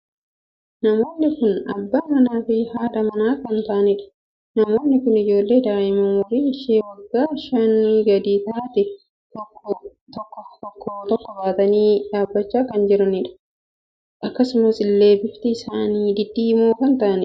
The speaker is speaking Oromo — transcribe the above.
Namoonni kun abbaa manaa fi haadha manaa kan taa'anidha. namoonni kun ijoollee daa'ima umurii ishee waggaa shanii gadi taatee tokko tokko baatanii dhaabbachaa kan jiranidha. akkasuma illee bifti isaanii diddiimoo kan taa'anidha.